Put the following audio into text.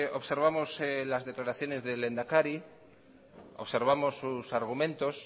observamos las declaraciones del lehendakari observamos sus argumentos